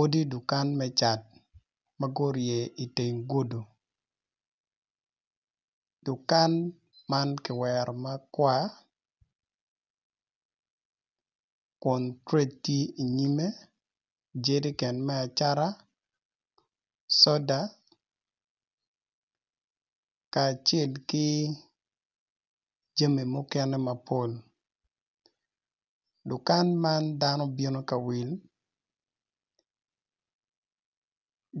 Odi dukan me cat magurye i teng gudi dukan man kiwero makwar, kun trench tye i nyime jerican me acata soda, kacel ki jami mukene mapol dukan man dano bino kawil